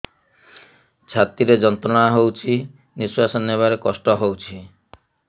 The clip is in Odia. ଛାତି ରେ ଯନ୍ତ୍ରଣା ହଉଛି ନିଶ୍ୱାସ ନେବାରେ କଷ୍ଟ ହଉଛି